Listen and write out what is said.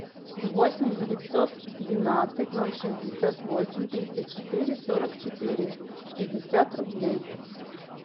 восемь девятьсот двенадцать ноль шестьдесят восемь тридцать четыре сорок четыре пятьдесят рублей